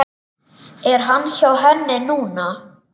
Er hann hjá henni núna?